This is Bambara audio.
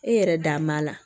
E yɛrɛ dan b'a la